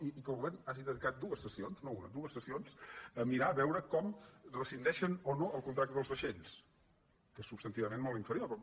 i que el govern hagi dedicat dues sessions no una dues sessions a mirar de veure com rescindeixen o no el contracte dels vaixells que és substantivament mot inferior però